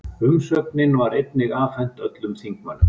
Umsögnin var einnig afhent öllum þingmönnum